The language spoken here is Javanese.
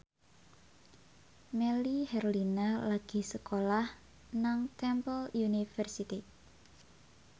Melly Herlina lagi sekolah nang Temple University